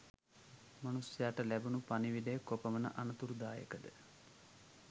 මනුස්සයාට ලැබුණු පණිවිඩය කොපමණ අනතුරුදායකද?